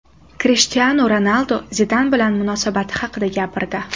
Krishtianu Ronaldu Zidan bilan munosabati haqida gapirdi.